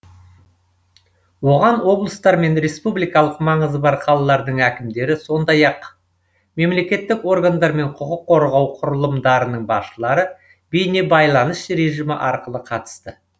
оған облыстар мен республикалық маңызы бар қалалардың әкімдері сондай ақ мемлекеттік органдар мен құқық қорғау құрылымдарының басшылары бейнебайланыс режимі арқылы қатысты